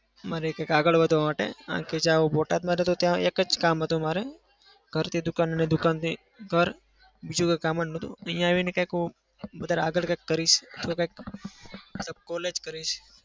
મારે કંઈક આગળ વધવા માટે બોટાદમાં તો ત્યાં એક જ કામ હતું મારે. ઘરથી દુકાન અને દુકાનથી ઘર. બીજું કોઈ કામ જ નતું. અહિયાં આવીને કંઈક હું વધારે આગળ કંઈક કરીશ અથવા કંઈક college કરવી છે.